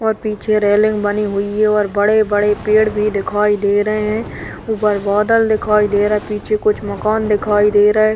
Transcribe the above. और पीछे रेलिंग बनी हुई है और बड़े - बड़े पेड़ भी दिखाई दे रहे हैं उपर बादल दिखाई दे रहा है पीछे कुछ मकान दिखाई दे रहा है।